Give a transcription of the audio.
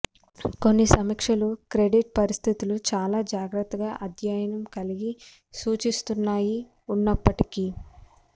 కొన్ని సమీక్షలు క్రెడిట్ పరిస్థితులు చాలా జాగ్రత్తగా అధ్యయనం కలిగి సూచిస్తున్నాయి ఉన్నప్పటికీ